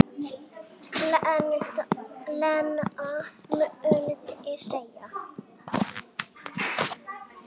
Lena mundi segja.